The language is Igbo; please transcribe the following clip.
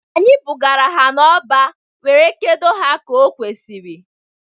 Anyị bugara ha n'ọba were kedo ha ka okwesiri.